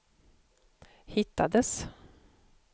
hittades